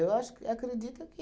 Eu acho acredito é que